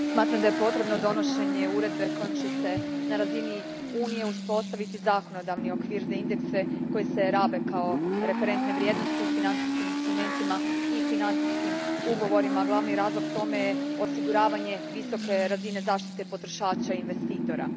Gospodine predsjedniče, smatram da je potrebno donošenje uredbe kojom će se na razini Unije uspostaviti zakonodavni okvir za indekse koji se rabe kao referentne vrijednosti u financijskim instrumentima i financijskim ugovorima, a glavni razlog tome je osiguravanje visoke razine zaštite potrošača i investitora.